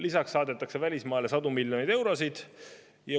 Lisaks saadetakse välismaale sadu miljoneid eurosid.